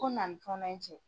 Ko na ni fɔnɔ in cɛ.